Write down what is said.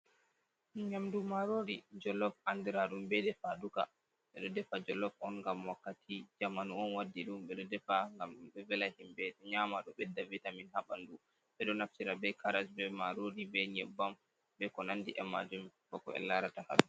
Nyaamdu maaroori jollof anndiraaɗum bee defaduka. Ɓe ɗo defa jollof on ngam wakkati. Jamanu on waddi ɗum ɓe ɗo defa ngam ɗum vela himɓe nyaama ɗo ɓedda vitamin haa ɓanndu. Ɓe ɗo naftira bee karas bee maaroori bee nyebbam bee ko nandi e maajum bako en larata haa ɗo'o.